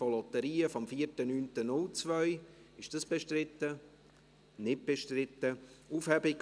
Möchten Sie noch etwas sagen, Herr Müller?